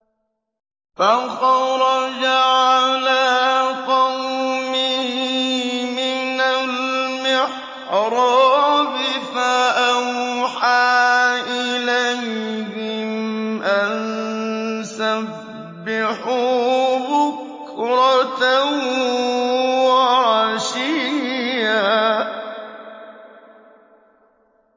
فَخَرَجَ عَلَىٰ قَوْمِهِ مِنَ الْمِحْرَابِ فَأَوْحَىٰ إِلَيْهِمْ أَن سَبِّحُوا بُكْرَةً وَعَشِيًّا